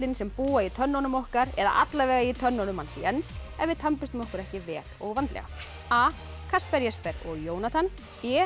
sem búa í tönnunum okkar eða allavega í tönnunum hans Jens ef við okkur ekki vel og vandlega a Jesper og Jónatan b